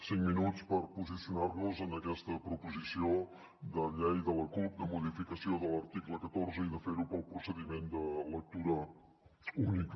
cinc minuts per posicionar nos en aquesta proposició de llei de la cup de modificació de l’article catorze i de fer ho pel procediment de lectura única